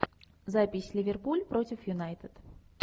запись ливерпуль против юнайтед